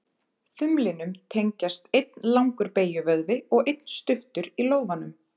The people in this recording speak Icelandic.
Þumlinum tengjast einn langur beygjuvöðvi og einn stuttur í lófanum.